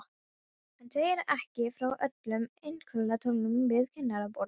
Hann segir ekki frá öllum einkaviðtölunum við kennaraborðið.